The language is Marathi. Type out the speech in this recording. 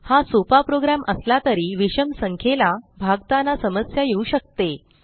हा सोपा प्रोग्रॅम असला तरी विषम संख्येला भागताना समस्या येऊ शकते